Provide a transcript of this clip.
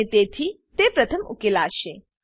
અને તેથી તે પ્રથમ ઉકેલાશે